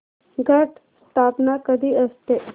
घट स्थापना कधी असते